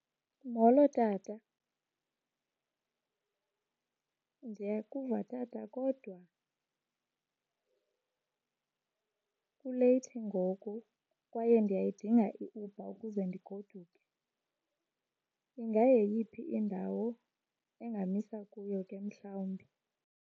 Molo tata. Ndiyakuva tata kodwa kuleyithi ngoku kwaye ndiyayidinga iUber ukuze ndigoduke. Ingayeyiphi indawo engamisa kuyo ke mhlawumbi?